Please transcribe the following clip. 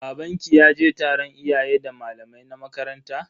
Babanki ya je taron iyayen da malamai na makaranta?